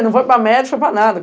Não foi para médio, foi para nada.